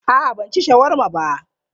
A'a ban ci shawarma ba.